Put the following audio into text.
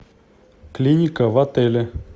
клиника в отеле